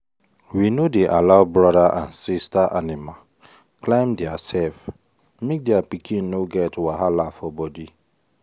we no dey allow brother and sister animal climb theirself make their pikin no get wahala for body.